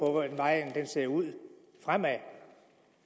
hvordan vejen ser ud fremad